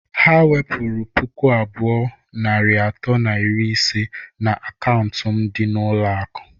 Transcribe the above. Ha wepụru puku abụọ, narị atọ na iri ise na akaụntụ m dị n'ụlọ akụ.